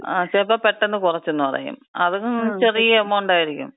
ആ, ചിലപ്പോ പെട്ടെന്ന് കുറച്ചന്ന് പറയും. അത് ചെറിയ എമൗണ്ട് ആയിരിക്കും.